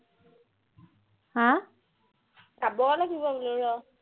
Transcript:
হা চাব লাগিব ওলিয়াই